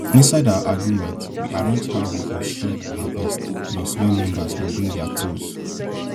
inside our agreement we arrange how we go share and harvest plus when members go bring their tools